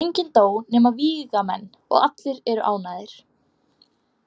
Enginn dó nema vígamenn og allir eru ánægðir.